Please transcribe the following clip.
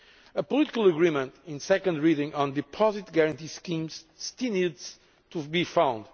A political agreement at second reading on deposit guarantee schemes still needs to be found.